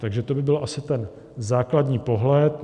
Takže to by byl asi ten základní pohled.